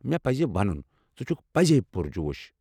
مےٚ پزِ وَنُن، ژٕ چھُکھ پٔزۍ پُرجوش۔